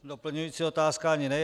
Doplňující otázka ani ne.